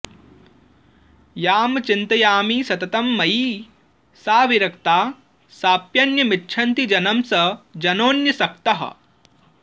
यां चिन्तयामि सततं मयि सा विरक्ता साप्यन्यमिच्छति जनं स जनोऽन्यसक्तः